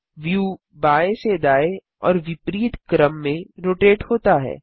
view बाएँ से दाएँ और विपरीत क्रम में रोटेट होता है